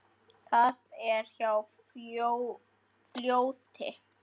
Það er hjá fljóti.